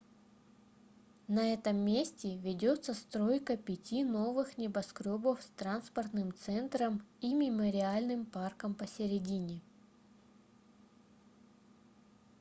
на этом месте ведется стройка пяти новых небоскрёбов с транспортным центром и мемориальным парком посередине